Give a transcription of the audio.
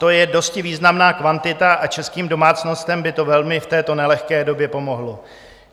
To je dosti významná kvantita a českým domácnostem by to velmi v této nelehké době pomohlo.